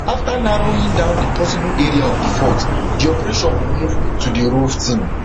afta narrowing down di possible area of di fault di operation go move to di rov team